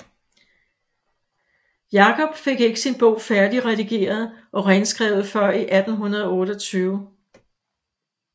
Jakob fik ikke sin bog færdig redigeret og renskrevet før i 1828